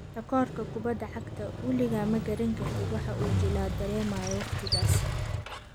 Takoorka kubadda cagta: 'Weligaa ma garan kartid waxa uu jilaa dareemayo wakhtigaas'